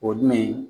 O jumɛn